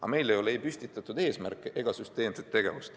Aga meil ei ole ei püstitatud eesmärke ega süsteemset tegevust.